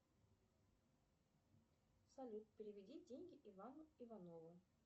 салют переведи деньги ивану иванову